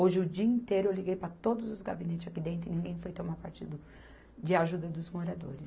Hoje, o dia inteiro, eu liguei para todos os gabinetes aqui dentro e ninguém foi tomar partido de ajuda dos moradores.